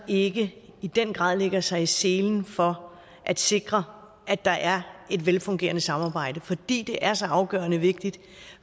ikke i den grad lægger sig i selen for at sikre at der er et velfungerende samarbejde fordi det er så afgørende vigtigt